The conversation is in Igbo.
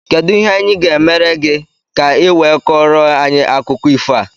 Kedụ ihe anyị gá emere gị, ka i wee Koro anyị akụkọ ifo a?